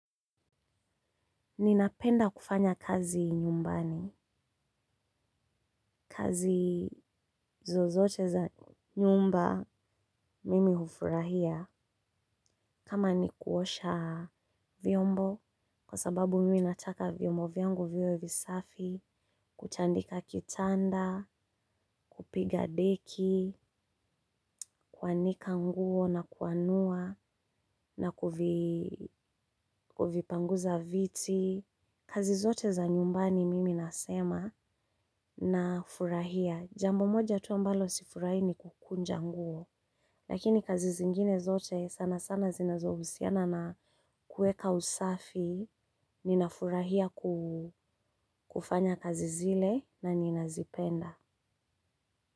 Ninapenda kufanya kazi nyumbani. Kazi zozote za nyumba mimi hufurahia. Kama ni kuosha vyombo, kwa sababu mimi nataka vyombo vyangu viwe visafi, kutandika kitanda, kupiga deki, kuanika nguo na kuanua, na kuvipanguza viti. Kazi zote za nyumbani mimi nasema na furahia. Jambo moja tu ambalo sifurahi ni kukunja nguo. Lakini kazi zingine zote sana sana zinazohusiana na kueka usafi ninafurahia kufanya kazi zile na ninazipenda.